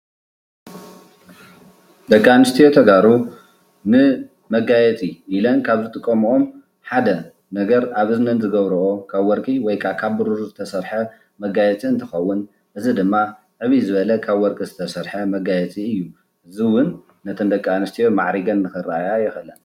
ደቂ ኣንስትዮ ተጋሩ ንመጋየፂ ኢለን ካብ ዝጥቀመኦም ሓደ ነገር ኣብ እዝነን ዝገብርኦ ካብ ወርቂ ወይከኣ ካብ ብሩር ዝተሰርሐ መጋየፂ እንትኸውን እዚ ድማ ዕብይ ዝበለ ካብ ወርቂ ዝተሰርሐ መጋየፂ እዩ፡፡ እዚ ውን ነተን ደቂ ኣንስትዮ ማዕሪገን ንኽረአያ የኽእለን፡፡